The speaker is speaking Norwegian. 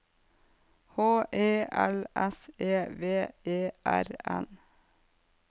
H E L S E V E R N